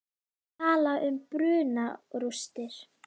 Má tala um brunarústir?